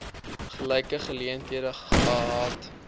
gelyke geleenthede gehad